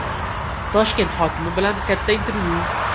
Toshkent hokimi bilan katta intervyu.